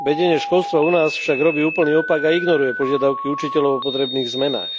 Vedenie školstva u nás však robí úplný opak a ignoruje požiadavky učiteľov o potrebných zmenách.